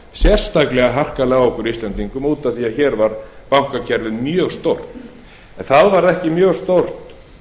sérstaklega harkalega á okkur íslendingum út af því að hér var bankakerfið mjög stórt en það var ekki mjög stórt